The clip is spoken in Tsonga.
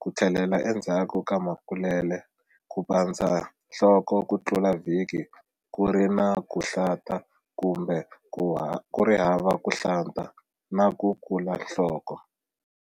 ku tlhelela endzhaku ka makulele, ku pandza nhloko ku tlula vhiki ku ri na ku nhlata kumbe ku ri hava ku hlanta na ku kula nhloko.